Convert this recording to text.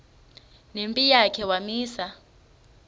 nempi yakhe wamisa